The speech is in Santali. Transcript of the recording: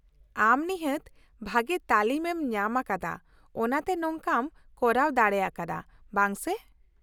ᱼᱟᱢ ᱱᱤᱦᱟᱹᱛ ᱵᱷᱟᱹᱜᱤ ᱛᱟᱹᱞᱤᱢ ᱮᱢ ᱧᱟᱢ ᱟᱠᱟᱫᱟ ᱚᱱᱟᱛᱮ ᱱᱚᱝᱠᱟᱢ ᱠᱚᱨᱟᱣ ᱫᱟᱲᱮ ᱟᱠᱟᱫᱼᱟ, ᱵᱟᱝ ᱥᱮ ?